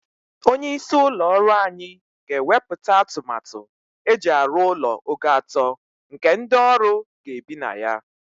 Onye isi ụlọ ọrụ anyị ga-ewepụta atụmatụ eji arụ ụlọ ogo atọ nke ndị ọrụ ga-ebi na ya.